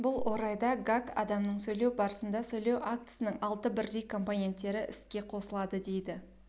бұл орайда гак адамның сөйлеу барысында сөйлеу актісінің алты бірдей компоненттері іске қосылады дейді